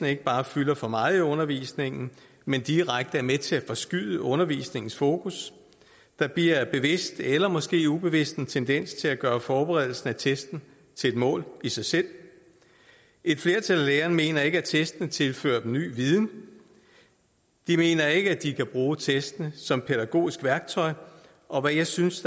ikke bare fylder for meget i undervisningen men direkte er med til at forskyde undervisningens fokus der bliver bevidst eller måske ubevidst en tendens til at gøre forberedelsen af testen til et mål i sig selv et flertal af lærerne mener ikke at testen tilfører dem ny viden de mener heller ikke at de kan bruge testen som pædagogisk værktøj og jeg synes